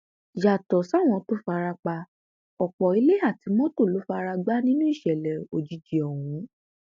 yàtọ sáwọn tó fara pa ọpọ ilé àti mọtò ló fara gbá nínú ìṣẹlẹ òjijì ọhún